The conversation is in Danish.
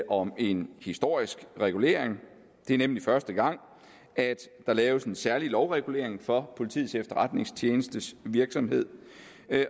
om en historisk regulering det er nemlig første gang at der laves en særlig lovregulering for politiets efterretningstjenestes virksomhed